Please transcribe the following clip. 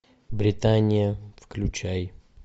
британия включай